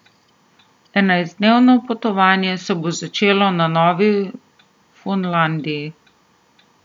Enajstdnevno potovanje se bo začelo na Novi Fundlandiji.